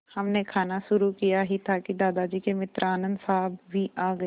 हमने खाना शुरू किया ही था कि दादाजी के मित्र आनन्द साहब भी आ गए